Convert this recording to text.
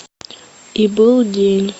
и был день